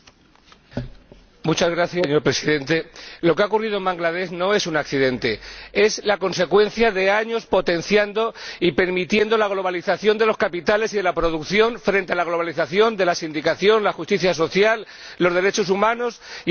Señor Presidente, lo que ha ocurrido en Bangladés no es un accidente, es la consecuencia de años potenciando y permitiendo la globalización de los capitales y de la producción frente a la globalización de la sindicación, la justicia social, los derechos humanos y el bienestar social de los trabajadores.